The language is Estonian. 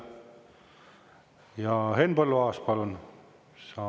Ja Henn Põlluaas, palun!